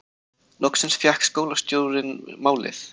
Loksins fékk skólastjórinn málið